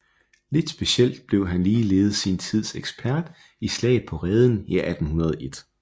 Lidt specielt blev han ligeledes sin tids ekspert i Slaget på Reden i 1801